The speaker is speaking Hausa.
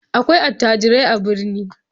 Akwai attajirai a birni.